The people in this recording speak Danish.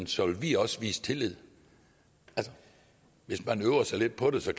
så vil vi også vise tillid altså hvis man øvede sig lidt på det så